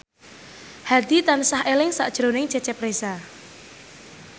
Hadi tansah eling sakjroning Cecep Reza